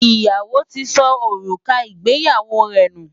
Ìyàwó ti sọ òrùka ìgbéyàwó rẹ̀ nù.